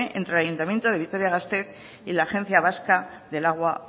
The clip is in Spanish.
entre el ayuntamiento de vitoria gasteiz y la agencia vasca del agua